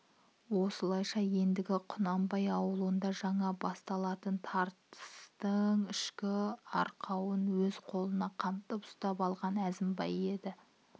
осылайша ендігі құнанбай ауылында жаңа басталатын тартыстың ішкі арқауын өз қолына қымтып ұстап алған әзімбай еді